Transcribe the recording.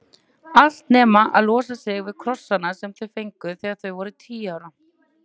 Allt nema að losa sig við krossana sem þau fengu þegar þau voru tíu ára.